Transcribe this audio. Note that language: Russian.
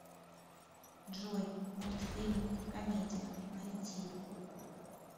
джой мультфильм комедия найти